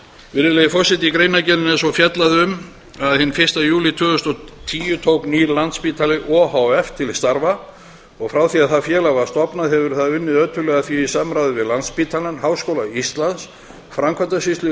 virðulegi forseti í greinargerðinni segir einnig hinn fyrsta júlí tvö þúsund og tíu tók nýr landspítali o h f til starfa frá því að félagið var stofnað hefur það unnið ötullega að því í samráði við landspítalann háskóla íslands framkvæmdasýslu